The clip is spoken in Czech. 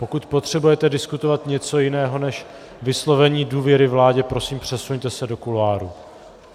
Pokud potřebujete diskutovat něco jiného než vyslovení důvěry vládě, prosím, přesuňte se do kuloáru.